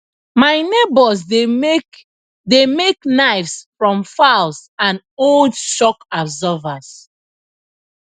my neighbours dey make dey make knives from files and old shock absorbers